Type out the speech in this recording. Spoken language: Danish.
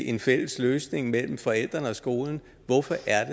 en fælles løsning mellem forældrene og skolen hvorfor er